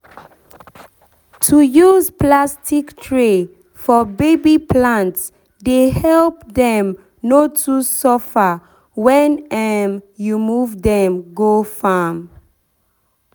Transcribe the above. to use plastic tray for baby plants dey help them no too suffer when um you move them go farm.